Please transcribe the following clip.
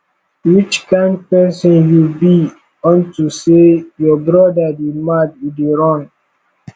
which kin person you beunto say your brother dey mad you dey run